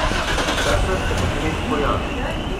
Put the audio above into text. In takrat se bo spet pojavil.